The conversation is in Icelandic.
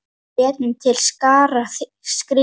Við létum til skarar skríða.